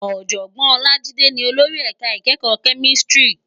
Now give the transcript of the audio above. Òjògbòn Olajide ni ólóri èká ikèékò Kèmìsítìrí